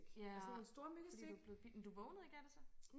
Ja fordi du var blevet men du vågnede ikke af det så